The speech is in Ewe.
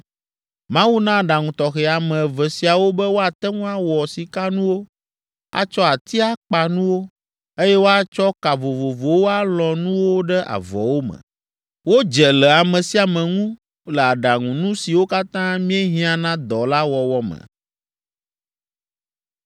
Mawu na aɖaŋu tɔxɛ ame eve siawo be woate ŋu awɔ sikanuwo, atsɔ ati akpa nuwo, eye woatsɔ ka vovovowo alɔ̃ nuwo ɖe avɔwo me. Wodze le ame sia ame ŋu le aɖaŋunu siwo katã míehiã na dɔ la wɔwɔ me.